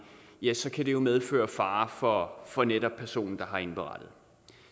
ja så kan det jo medføre fare for for netop personen der har indberettet